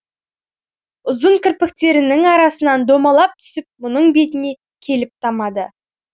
ұзын кірпіктерінің арасынан домалап түсіп мұның бетіне келіп тамады